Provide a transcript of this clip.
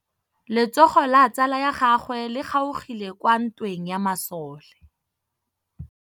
Letsôgô la tsala ya gagwe le kgaogile kwa ntweng ya masole.